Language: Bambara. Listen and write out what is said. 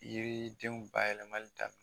Yiri denw bayɛlɛli daminɛ